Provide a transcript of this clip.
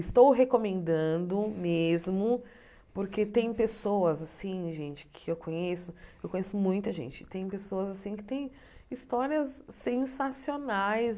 Estou recomendando mesmo porque tem pessoas assim gente que conheço – eu conheço muita gente – tem pessoas assim que têm histórias sensacionais,